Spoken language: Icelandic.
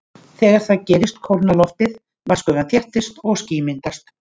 Þegar það gerist kólnar loftið, vatnsgufan þéttist og ský myndast.